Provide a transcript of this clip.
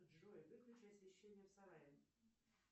джой выключи освещение в сарае